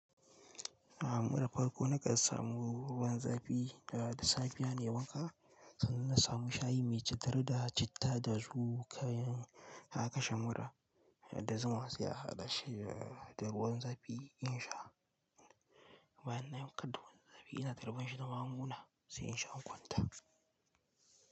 Abu na farko na kan samu ruwan zafi da da safe ya nemaka, sannan na samu shayi mai cittar da citta da zuƙa. Haka sha mura da zuma sai a haɗa shi da ruwan zafi in sha. Bayan na yanka duwatsan zafi ina tarban shi da maguna sai in sha kwanta.